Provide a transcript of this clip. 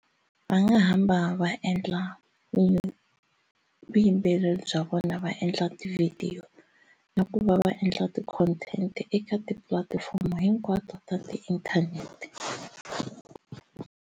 Va nga hamba va endla vuyimbeleri bya vona va endla tivhidiyo na ku va va endla ti content eka tipulatifomo hinkwato ta ti inthanete.